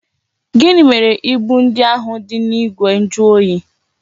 Gịnị mere ibu ndị ahụ dị n'igwe njuoyi?